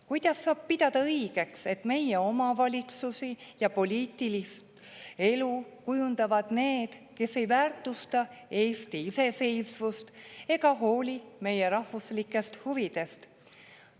Kuidas saab pidada õigeks, et meie omavalitsusi ja poliitilist elu kujundavad need, kes ei väärtusta Eesti iseseisvust ega hooli meie rahvuslikest huvidest?